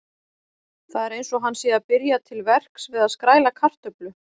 Það er eins og hann sé að byrja til verks við að skræla kartöflu.